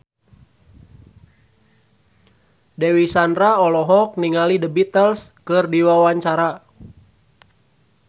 Dewi Sandra olohok ningali The Beatles keur diwawancara